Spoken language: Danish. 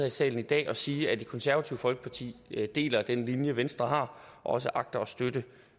i salen i dag at sige at det konservative folkeparti deler den linje venstre har og også agter at støtte